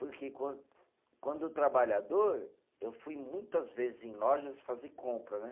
Porque quando, quando trabalhador, eu fui muitas vezes em lojas fazer compra, né?